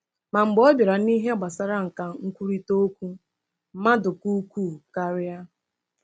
Ma mgbe ọ bịara n’ihe gbasara nkà nkwurịta okwu, mmadụ ka ukwuu karịa.